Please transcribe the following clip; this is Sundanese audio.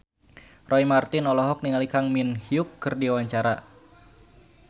Roy Marten olohok ningali Kang Min Hyuk keur diwawancara